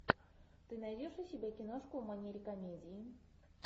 ты найдешь у себя киношку в манере комедии